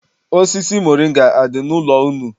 Osisi moringa adị n'ụlọ unu?